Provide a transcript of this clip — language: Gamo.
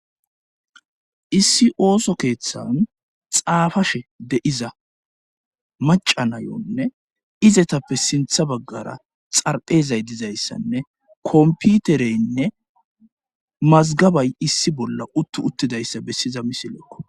Issi ooso keeththan xaafashe deiza macanayonne izetappe sintha baggara xarphezay dizayssanne komputereynne mazgabay issi bolla uttu uttidayssa bessiza misilekko.